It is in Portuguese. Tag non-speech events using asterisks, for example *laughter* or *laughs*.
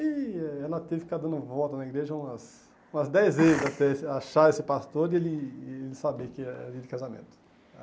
E eh ela teve que ficar dando volta na igreja umas umas dez vezes *laughs* até achar esse pastor e ele ele saber que era dia de casamento.